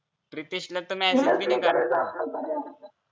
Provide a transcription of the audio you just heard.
प्रितेशला तर message पण नाही करायचा